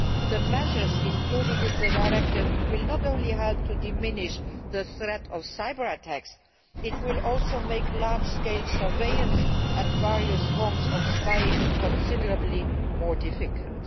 The measures included in the directive will not only help to diminish the threat of cyber attacks, they will also make large scale surveillance and various forms of spying considerably more difficult.